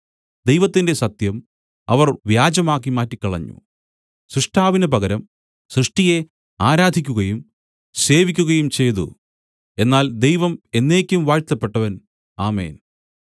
ദൈവത്തിന്റെ സത്യം അവർ വ്യാജമാക്കി മാറ്റിക്കളഞ്ഞു സൃഷ്ടാവിന് പകരം സൃഷ്ടിയെ ആരാധിക്കുകയും സേവിക്കുകയും ചെയ്തു എന്നാൽ ദൈവം എന്നേക്കും വാഴ്ത്തപ്പെട്ടവൻ ആമേൻ